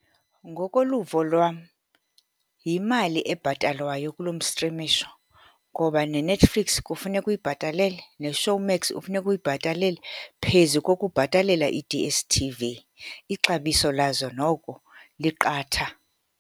Ngokoluvo lwam, yimali ebhatalwayo kuloo mstrimisho, ngoba neNetflix kufuneka uyibhatalele, neShowmax ufuneka uyibhatalele, phezu kokubhatalela i-D_S_T_V. Ixabiso lazo noko liqatha.